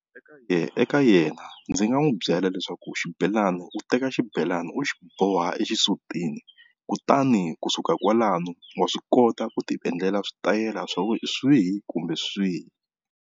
Eka yena ndzi nga n'wi byela leswaku xibelani u teka xibelani u xi boha exisutini kutani kusuka kwalano wa swi kota ku ti endlela switayela swa ku swihi kumbe swihi.